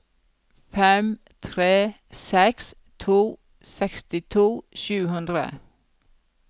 fem tre seks to sekstito sju hundre